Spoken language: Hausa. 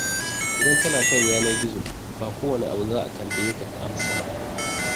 Idan kana kan yanar-gizo ba kowane abu za a tambaye ka ka amsa ba.